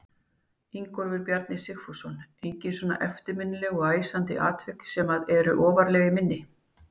Ingólfur Bjarni Sigfússon: Engin svona eftirminnileg og æsandi atvik sem að eru ofarlega í minni?